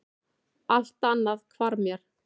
Allt annað hvarf mér.